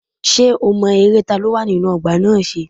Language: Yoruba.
Ṣé o mọ eré ta ló wà nínú ọgbà náà ṣe?